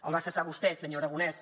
el va cessar vostè senyor aragonès